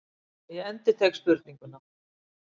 Ég endurtek spurninguna.